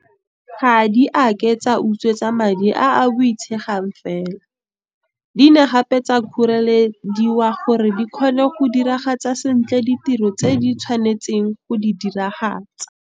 Ga di a ke tsa utswetswa madi a a boitshegang fela, di ne gape tsa kgorelediwa gore di kgone go diragatsa sentle ditiro tse di tshwanetseng go di diragatsa.